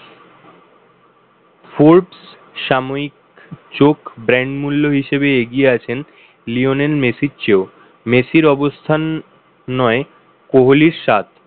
forbes সাময়িক চোখ brand মূল্য হিসাবে এগিয়ে আছেন লিওনেল মেসির চেয়েও। মেসির অবস্থান ন'য়ে কোহলির সাত।